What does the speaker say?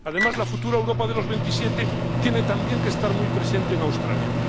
Además, la futura Europa de los veintisiete tiene también que estar muy presente en Australia.